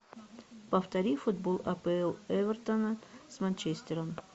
повтори футбол апл эвертона с манчестером